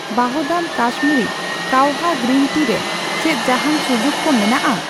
ᱣᱟᱦᱫᱟᱢ Kashmiri kahwa green tea ᱨᱮ ᱪᱮᱫ ᱡᱟᱦᱟᱸᱱ ᱥᱩᱡᱩᱠ ᱠᱚ ᱢᱮᱱᱟᱜᱼᱟ ?